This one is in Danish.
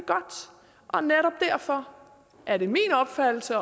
og netop derfor er det min opfattelse